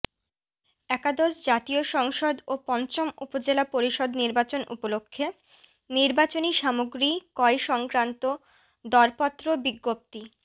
একাদশ জাতীয় সংসদ ও পঞ্চম উপজেলা পরিষদ নির্বাচন উপলক্ষে নির্বাচনি সামগ্রী ক্রয় সংক্রান্ত দরপত্র বিজ্ঞপ্তি